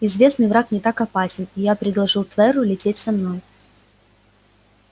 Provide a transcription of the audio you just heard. известный враг не так опасен и я предложил тверу лететь со мной